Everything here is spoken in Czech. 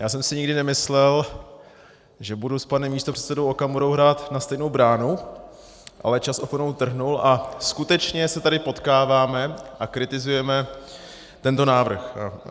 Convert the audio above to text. Já jsem si nikdy nemyslel, že budu s panem místopředsedou Okamurou hrát na stejnou bránu, ale čas oponou trhnul a skutečně se tady potkáváme a kritizujeme tento návrh.